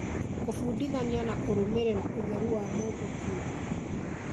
Kũbundithania na kũrũmĩrĩra ũtheru wa mũndũ kĩumbe